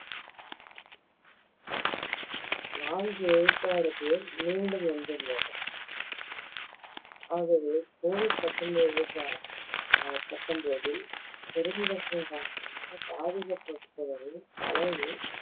நான்கு விழுக்காடு பேர் மீண்டு வந்துள்ளனர் ஆகவே covid பத்தொன்பது பத்தொன்பதில் பெருந்தொற்று காரணமாக பாதிக்கப்பட்டவர்கள் அதாவது